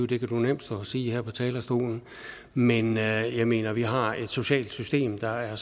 det kan jeg nemt stå og sige her på talerstolen men jeg mener at vi har et socialt system der er